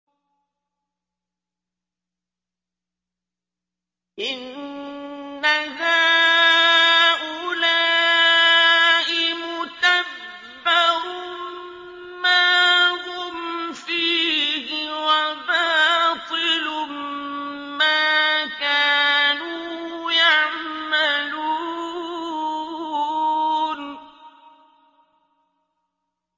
إِنَّ هَٰؤُلَاءِ مُتَبَّرٌ مَّا هُمْ فِيهِ وَبَاطِلٌ مَّا كَانُوا يَعْمَلُونَ